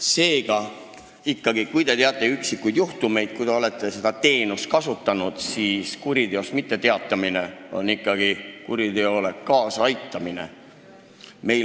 Seega, kui te teate üksikuid juhtumeid, kui te olete seda teenust kasutanud, siis kuriteost mitteteatamine on ikkagi kuriteole kaasaaitamine.